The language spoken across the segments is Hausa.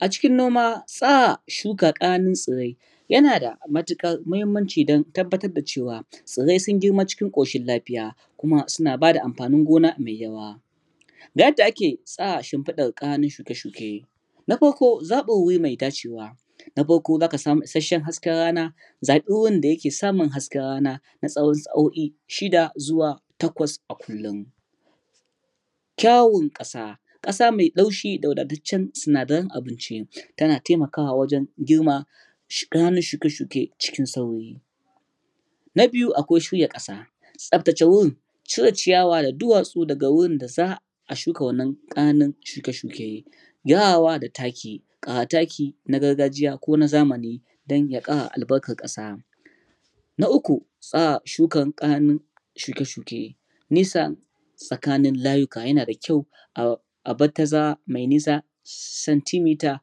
A cikin noma tsara shuka ƙananun tsarai yana da matuƙar muhimmanci don tabbatar da cewa tsirai sun girma cikin ƙoshin lafiya kuma suna ba da amfanin gona mai yawa ga yadda ake tsara shimfilar ƙananun shuke-shuke, na farko zaɓin wuri mai dacewa, na farko za ka sami issashen hasken rana, zaɓi wurin da yake samin hasken rana na tsawon sa'o'i shida zuwa takwas a kullum. Kyan Ƙasa: Ƙasa mai laushi da wadataccen sinadaran abinci, tana taimakawa wajen girman ƙananan shuke-shuke cikin sauri. Na biyu, akwai Shirya Ƙ asa: tsaftace wurin, cire ciyawa da duwatsu daga wurin da za a wannan ƙananun shuke-shuke. Gyarawa da Taki: Ƙara taki, na gargajiya ko na zamani, don ya ƙara albarkar ƙasa. Na Uku. Tsara shukar ƙananan Shuke-shuke: Nisa tsakanin layuka yana da kyau a a bar tazara mai nisa santimita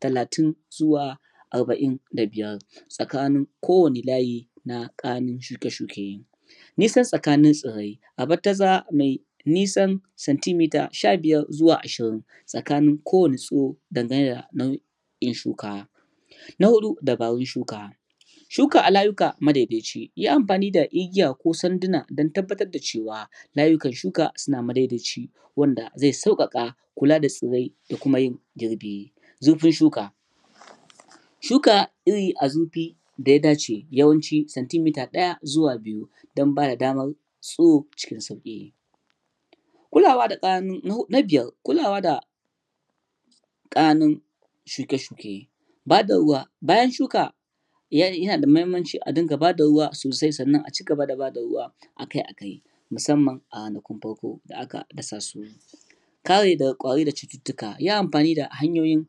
talatin (30cm) zuwa arba'in da biyar (45cm) tsakanin kowanne layi na ƙananan shuke-shuke. Nisa tsakanin kananan tsirai, a bar tazara mai nisan nisan santimita sha biyar zuwa ashirin (15-20cm) tsakanin kowanne tsiro, dan gane da yanayi shuka. Na Hudu. Dabarun Shuka: Shuka a layuka ma dai dai ci, yi amfani da igiya ko sanduna don tabbatar da cewa layukan shuka suna ma dai dai ci, wannan zai sauƙaƙa kula tsirai da kuma yin girbi. Zurfin Shuka: Shuka iri a zurfin da ya dace yawanci sanitimita ɗaya zuwa biyu (1-2cm) don ba da damar tsiro cikin sauki. Na Biayar. Kulawa da Ƙananun Shuke-shuke: Ba da Ruwa: Bayan shuka yana da muhimmanci a dinga ba ruwa sosai sannan a ci gaba da ba da ruwa akai-akai musamman a kwanakin farko da ak dasa su. Kare Tsirare daga Ƙwari da Cututtuka: Yi amfani da hanyo yin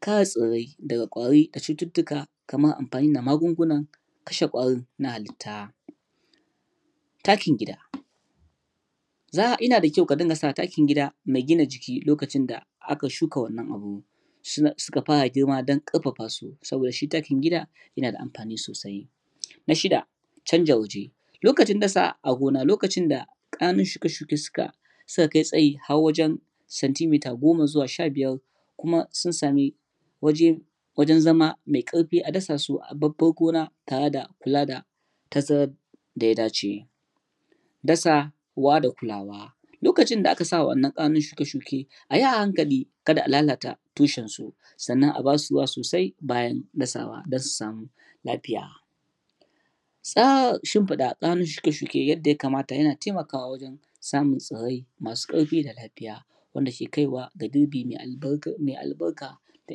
kare tsirori daga daga ƙwari da cututtuka kamar amfani da magunguna kashe ƙwarin da cuta. Takin Gida: Yana da kyau ka dinga sa takin gida mai gina jiki lokacin da aka shka wannan abu suka fara girma don ƙarfafa su, saboda shi takin gida yana da amfani sosai. Na Shida. Canja Waje: Lokacin dashe a gona lokacin da ƙananun shuke-shuke suka kai tsayi har wajen santimita goma zuwa sha biyar (10-15cm) ko kuma sun sami waje waje zama mai ƙarfi a dasa su a babbar gona tare da kula tazarar tazarar da ya dace. Dasawa da kulawa: Lokacin da aka sa wa ɗannan ƙananan shuke-shuke ayi a hanakali ka da a lalata tushen su, sannan a ba su ruwa sosai bayan dasawa don su sami lafiya. Tsara shimfiɗa ƙananun shuke-shuke yadda ya kamata yana taimakawa wajen samun tsirarai masu ƙarfi da lafiya wanda ke kaiwa ga girbi mai albarka da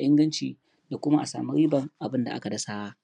inganci da kuma a samu ribar abun da aka dasa.